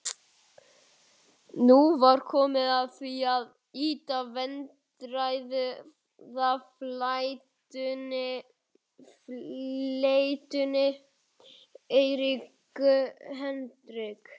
Nú var komið að því að ýta vandræðafleytunni Eriku Hendrik